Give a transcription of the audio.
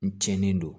N cɛnnen don